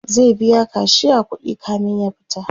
zai biya kashiya kuɗi kamin ya fita